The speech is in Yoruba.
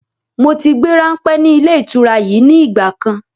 Moti gbé ranpẹ́ ni ilé ìtura yìí ni ìgbàkan.